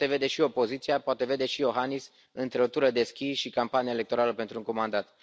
Poate vede și opoziția, poate vede și Iohannis, între o tură de schi și campania electorală pentru încă un mandat.